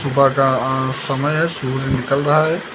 सुबह का अह समय है सूरज निकल रहा है।